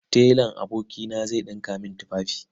Telan abokina zai ɗinka min tufafi.